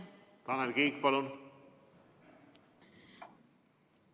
Tanel Kiik, palun!